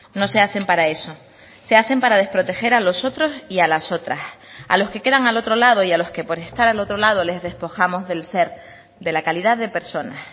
no se hacen para eso se hacen para desproteger a los otros y a las otras a los que quedan al otro lado y a los que por estar al otro lado les despojamos del ser de la calidad de personas